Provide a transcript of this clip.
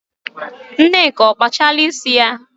Nneka ọ kpasịala isi ya?